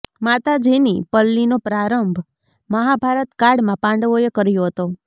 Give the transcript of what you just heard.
માતાજીની પલ્લીનો પ્રારંભ મહાભારત કાળમાં પાંડવોએ કર્યો હતો